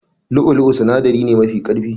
Lu'u lu'u sinadari ne mafi karfi.